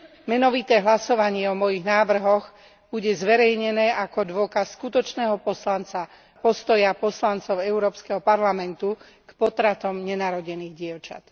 Menovité hlasovanie o mojich návrhoch bude zverejnené ako dôkaz skutočného poslanca, postoja poslancov Európskeho parlamentu k potratom nenarodených dievčat.